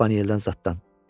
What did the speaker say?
Spanyeldən zadından.